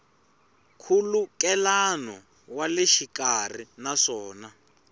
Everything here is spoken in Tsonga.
nkhulukelano wa le xikarhi naswona